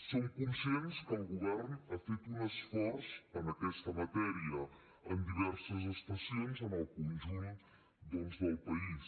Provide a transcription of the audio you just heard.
som conscients que el govern ha fet un esforç en aquesta matèria en diverses estacions en el conjunt doncs del país